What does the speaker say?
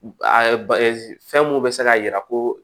fɛn mun bɛ se k'a jira ko